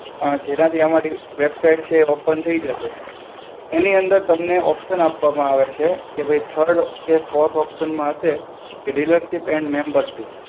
અ જેનાથી અમારી website છે એ open થઇ જશે. એની અંદર તમને option આપવામાં આવે છે, કે ભઈ third કે forth option માં હશે કે dealership એન્ડ membership.